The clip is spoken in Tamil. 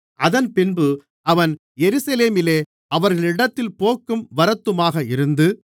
அதன்பின்பு அவன் எருசலேமிலே அவர்களிடத்தில் போக்கும் வரத்துமாக இருந்து